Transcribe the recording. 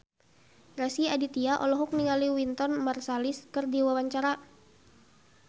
Rezky Aditya olohok ningali Wynton Marsalis keur diwawancara